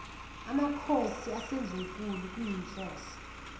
makhosi asendlunkulu kuyinhloso